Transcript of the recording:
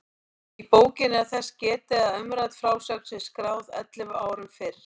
Í bókinni er þess getið að umrædd frásögn sé skráð ellefu árum fyrr.